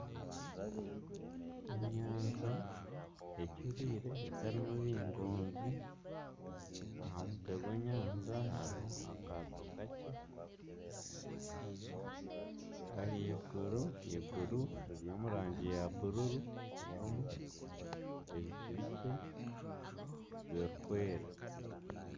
Enyanja ecuriire etarimu bingoonzi, aha mutwe gw'enyanja hariho akaato kakye, ahaiguru eiguru riri omu rangi ya buru ririmu ebicu bikye birikwera